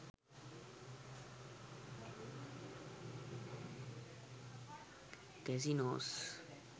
casinos